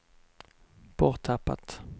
borttappat